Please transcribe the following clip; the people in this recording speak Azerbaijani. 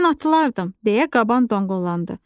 "Mən atılardım," - deyə qaban donqullandı.